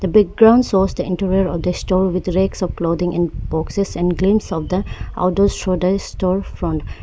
the ground shows the interior of the store with racks of clothing in boxes and glimpse of the store front--